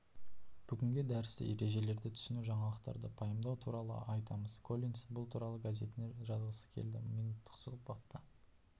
бүгінгі дәрісте ережелерді түсіну жаңалықтарды пайымдау туралы айтамыз коллинс бұл туралы газетіне жазғысы келді минуттық сұхбатта